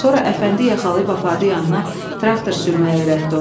Sonra Əfəndi yaxalayıb apardı yanına, traktor sürməyi öyrətdi ona.